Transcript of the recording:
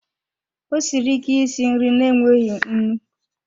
Ọ siri ike isi nri na-enweghị nnu.